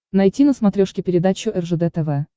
найти на смотрешке передачу ржд тв